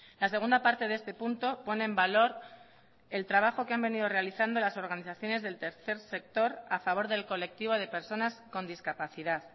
la segunda parte de este punto pone en valor el trabajo que han venido realizando las organizaciones del tercer sector a favor del colectivo de personas con discapacidad